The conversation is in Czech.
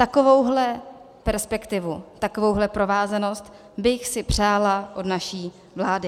Takovouhle perspektivu, takovouhle provázanost bych si přála od naší vlády.